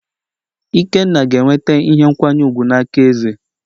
Ikenna ga-enweta ihe nkwanye ùgwù n'aka eze